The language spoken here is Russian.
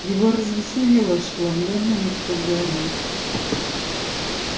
его развеселило ошеломлённое лицо гарри